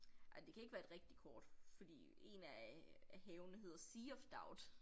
Ej det kan ikke være et rigtigt kort fordi 1 af af havene hedder Sea of Doubt